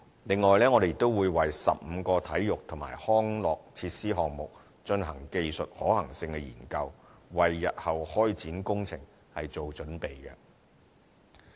此外，我們亦會為15個體育及康樂設施項目進行技術可行性研究，為日後開展工程做準備。